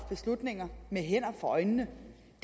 beslutninger med hænderne for øjnene